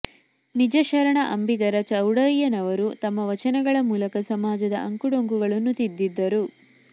ನಿಜಶರಣ ಅಂಬಿಗರ ಚೌಡಯ್ಯನವರು ತಮ್ಮ ವಚನಗಳ ಮೂಲಕ ಸಮಾಜದ ಅಂಕುಡೊಂಕುಗಳನ್ನು ತಿದ್ದಿದರು